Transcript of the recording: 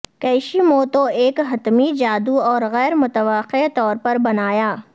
کیشی موتو ایک حتمی جادو اور غیر متوقع طور پر بنایا